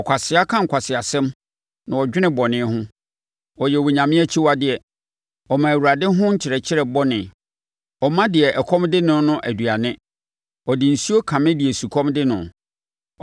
Ɔkwasea ka nkwaseasɛm na ɔdwene bɔne ho: ɔyɛ onyame akyiwadeɛ; ɔma Awurade ho nkyerɛkyerɛ bɔne; ɔmma deɛ ɛkɔm de no no aduane ɔde nsuo kame deɛ sukɔm de no.